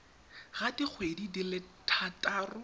ga dikgwedi di le thataro